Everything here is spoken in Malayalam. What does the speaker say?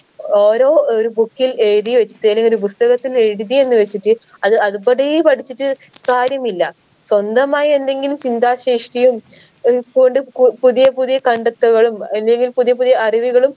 ഓരോ ഒരു book ൽ എഴുതി വച്ചയിന് ഇങ്ങനെ പുസ്തകത്തിൽ എഴുതി എന്ന് വെച്ചിട്ട് അത് അത് പടീ പഠിച്ചിട്ട് കാര്യമില്ല സ്വന്തമായി എന്തെങ്കിലും ചിന്താശേഷിയും കു പുതിയ പുതിയ കണ്ടെത്തുകളും എന്തെങ്കിലും പുതിയ പുതിയ അറിവുകളും